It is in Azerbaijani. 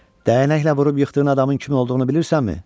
Dəyanəklə vurub yıxdığın adamın kim olduğunu bilirsənmi?